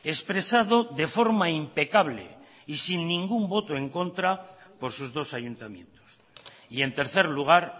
expresado de forma impecable y sin ningún voto en contra por sus dos ayuntamientos y en tercer lugar